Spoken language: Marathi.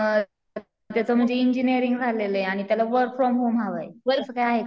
त्याचं म्हणजे इंजिनियरिंग झालेलं आहे आणि त्याला वर्क फ्रॉम होम हवं आहे. वर्क काय आहे का